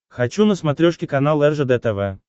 хочу на смотрешке канал ржд тв